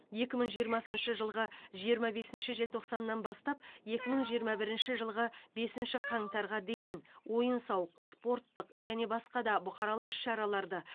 екі мың жиырмасыншы жылғы жиырма бесінші желтоқсаннан бастап екі мың жиырма бірінші жылғы бесінші қаңтарға дейін ойын сауық спорттық және басқа да бұқаралық іс шараларды